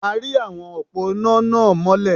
A ri awọn òpó iná náà mọ́lẹ̀.